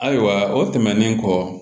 Ayiwa o tɛmɛnen kɔ